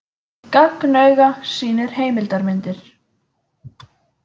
Gagnauga sýnir heimildarmyndir